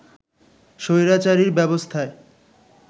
স্বৈরাচারী ব্যবস্থায়